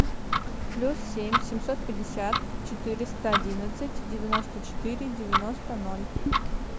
плюс семь семьсот пятьдесят четыреста одинадцать девяносто четыре девяносто ноль